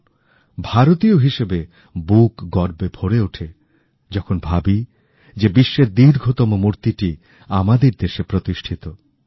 বিশ্বের দীর্ঘতম মূর্তি প্রত্যেক ভারতীয়র বুক গর্বে ভরে দেয় ভারতীয় হিসেবে বুক গর্বে ভরে ওঠে যখন ভাবি যে বিশ্বের দীর্ঘতম মূতিটি আমাদের দেশে প্রতিষ্ঠিত